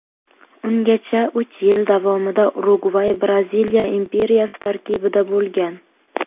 Ungacha uch yil davomida Urugvay Braziliya imperiyasi tarkibida bo‘lgan.